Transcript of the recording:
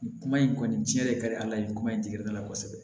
Nin kuma in kɔni tiɲɛ de ka di ala ye nin kuma in tɛ gɛrɛ a la kosɛbɛ